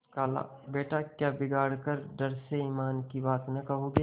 खालाबेटा क्या बिगाड़ के डर से ईमान की बात न कहोगे